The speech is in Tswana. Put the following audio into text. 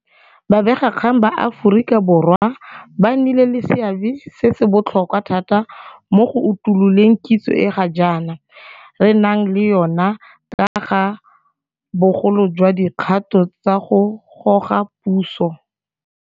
Babegakgang ba Aforika Borwa ba nnile le seabe se se botlhokwa thata mo go utuloleng kitso e ga jaana re nang le yona ka ga bogolo jwa dikgato tsa go goga puso.